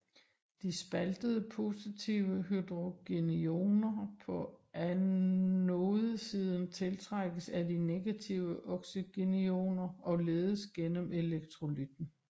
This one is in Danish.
De spaltede positive hydrogenioner på anodesiden tiltrækkes af de negative oxygenioner og ledes igennem elektrolytten